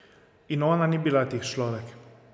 In ona ni bila tih človek.